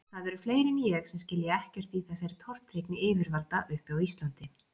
Það eru fleiri en ég sem skilja ekkert í þessari tortryggni yfirvalda uppi á Íslandi.